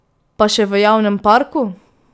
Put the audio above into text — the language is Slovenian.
Pa še v javnem parku!